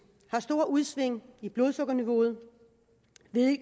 har store udsving i blodsukkerniveauet